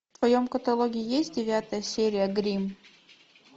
в твоем каталоге есть девятая серия гримм